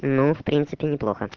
ну в принципе неплохо